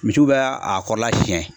Misiw bɛ a kɔrɔla siɲɛ